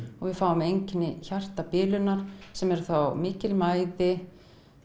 og við fáum einkenni hjartabilunar sem er þá mikil mæði